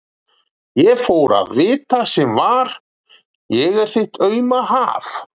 Ég fór að vita sem var: ég er þitt auma haf.